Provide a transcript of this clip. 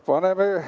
No nii!